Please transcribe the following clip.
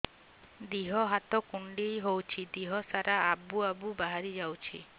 ଦିହ ହାତ କୁଣ୍ଡେଇ ହଉଛି ଦିହ ସାରା ଆବୁ ଆବୁ ବାହାରି ଯାଉଛି